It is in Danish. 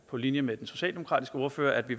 på linje med den socialdemokratiske ordfører at vi